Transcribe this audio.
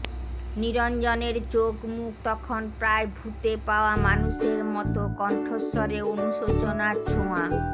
নিরঞ্জনের চোখ মুখ তখন প্রায় ভূতে পাওয়া মানুষের মতোকণ্ঠস্বরে অনুশোচনার ছোঁয়া